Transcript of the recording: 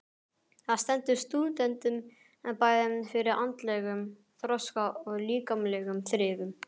Það stendur stúdentunum bæði fyrir andlegum þroska og líkamlegum þrifum.